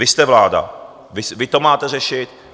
Vy jste vláda, vy to máte řešit.